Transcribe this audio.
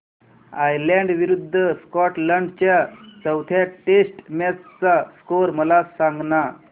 Ireland विरूद्ध Scotland च्या चौथ्या टेस्ट मॅच चा स्कोर मला सांगना